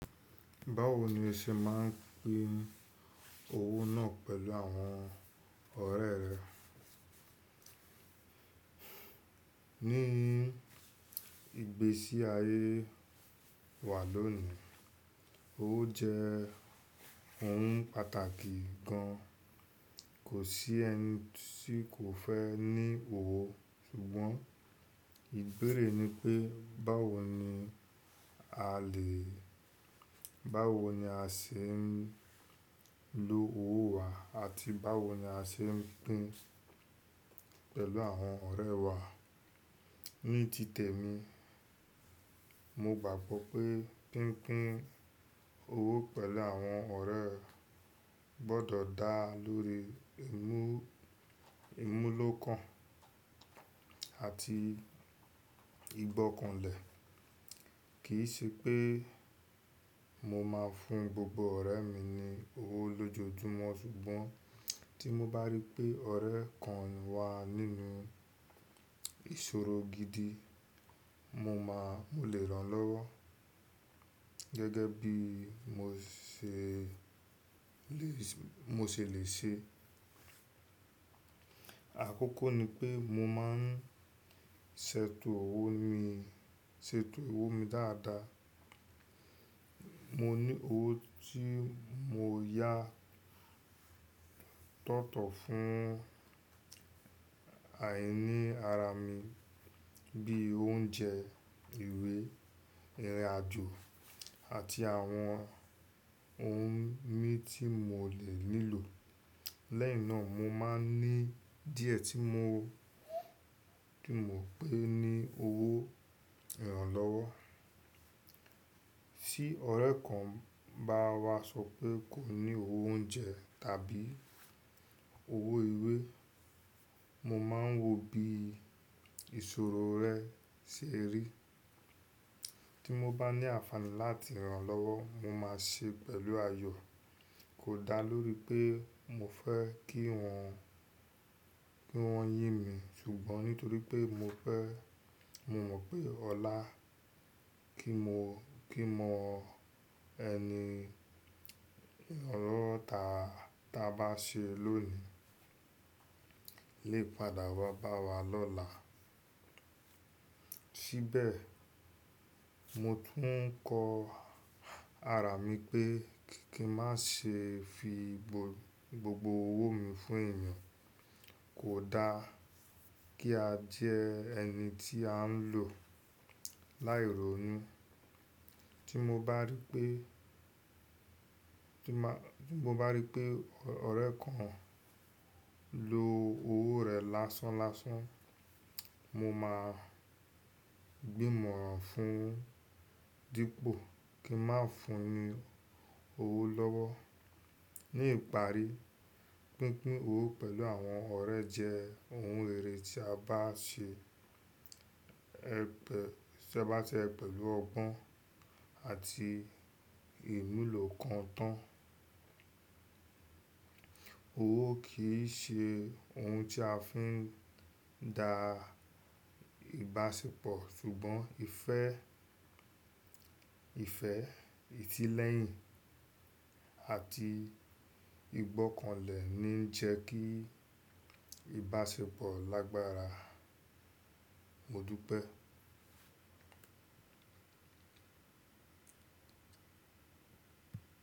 Báwo ni ẹ ṣe máa ń pín owó náà pẹ̀lú àwọn ọ̀rẹ́ rẹ? Ni ìgbésí ayé wa lónìí, owó jẹ́ ohun pàtàkì gan-an. Kò sí ẹni tí kò fẹ́ ní owó, ṣùgbọ́n ìbéèrè ni pé báwo ni a lè, báwo ni a ṣe ń lo owó wa àti báwo ni a ṣe ń pín pẹ̀lú àwọn ọ̀rẹ́ wa. Ní tìtẹ mi, mo gbàgbọ́ pé pínpín owó pẹ̀lú àwọn ọ̀rẹ́ gbọ́dọ̀ dá lórí ìmú-ìmúlò kan àti ìgbọ́kànlẹ̀. Kì í ṣe pé mo máa ń fún gbogbo ọ̀rẹ́ mi ní owó lójoojúmọ́, ṣùgbọ́n tí mo bá rí pé ọ̀rẹ́ kan wà nínú ìṣòro gidi, mo máa, mo lè rán lọ́wọ́ gẹ́gẹ́ bí mo ṣè lè ṣe, mo ṣè lè ṣe. Àkókò ni pé mo máa ń ṣètò owó mi, ṣètò owó mi dáadáa. Mo ní owó tí mo yá tọ̀tọ̀ fún àìní ara mi bí i oúnjẹ, ìwé, ìrìnàjò àti àwọn ohun mí tí mo lè nílò. Lẹ́yìn náà mo máa ń ní díẹ̀ tí mo, tí mo pé ní owó ìrànlọ́wọ́. Sí ọ̀rẹ́ kan bá wá sọ pé kò ní owó oúnjẹ tàbí owó ìwé, mo máa ń wo bí ìṣòro rẹ̀ ṣe rí. Tí mo bá ní àfààní láti rán lọ́wọ́, mo máa ṣe pẹ̀lú ayọ̀. Kò dáa lórí pé mo fẹ́ kí wọ́n, kí wọ́n yín mi, ṣùgbọ́n nítorí pé mo fẹ́, mo mọ̀ pé ọlá kí mo, kí mo ẹni ọlọ́rọ̀ táa, táa bá ṣe lónìí lè padà wa bá wa lọ́la. Síbẹ̀, mo tún ń kọ ara mi pé kí n má ṣe fi gbogbo owó mi fún èèyàn. Kò dáa kí a jẹ ẹni tí à ń lò láì rònú. Tí mo bá rí pé, tí mo bá rí pé ọ̀rẹ́ kan ń lo owó rẹ̀ lásán lásán, mo máa gbìmọ̀ran fún un dípò kí n máa ń fún un ní owó lọ́wọ́. Ní ìparí, pínpín owó pẹ̀lú àwọn ọ̀rẹ́ jẹ́ ohun èrè tí a bá ṣe ẹ̀ bẹ, tí a bá ṣe é pẹ̀lú ọgbọ́n àti ìmúlò kan tán. Owó kì í ṣe ohun tí a fi ń da ìbáṣepọ̀, ṣùgbọ́n ìfẹ́, ìfẹ́, ìti lẹ́yìn àti ìgbọ́kànlẹ̀ ni ń jẹ́ kí ìbáṣepọ̀ lágbára. Mo dúpẹ́.